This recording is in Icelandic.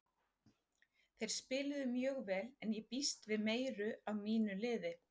Þeir spiluðu mjög vel en ég býst við meiru af mínu liði.